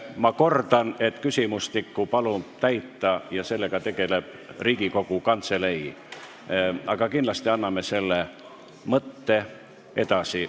Ma kordan, et küsimustikku palub täita ja sellega tegeleb Riigikogu Kantselei, aga kindlasti anname selle mõtte edasi.